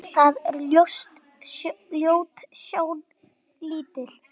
Það er ljót sjón lítil.